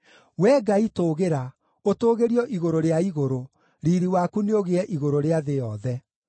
Wee Ngai tũũgĩra, ũtũũgĩrio igũrũ rĩa igũrũ, riiri waku nĩũgĩe igũrũ rĩa thĩ yothe.